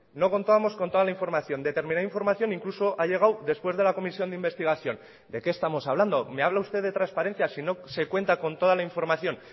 no contábamos con toda la información determinada información incluso ha llegado después de la comisión de investigación de qué estamos hablando me habla usted de transparencias si no se cuenta con toda la información